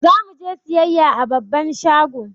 Zamu je siyayya a babban shago